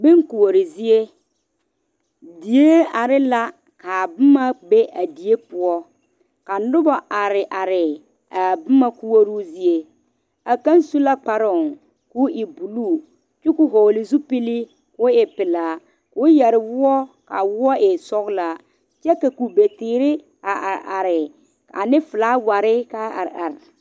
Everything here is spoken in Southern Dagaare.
Bon koɔre zie diɛ are la kaa boma be a diɛ poɔ ka nobo are are a boma koɔro zie a kaŋ su la kparo ko'o e buluu kyɛ koo vɔgle zupele ko'o eŋ buluu kyuu ko vɔgle zupele ko'o e pelaa koo seɛ woɔ kaa woɔ e sɔglaa kyɛ kakube teere a are are ane filaaware .